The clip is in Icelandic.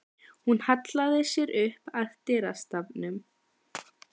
Hún hallaði sér upp að dyrastafnum.